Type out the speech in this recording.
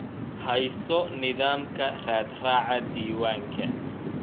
Hayso nidaamka raadraaca diiwaanka